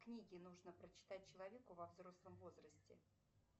книги нужно прочитать человеку во взрослом возрасте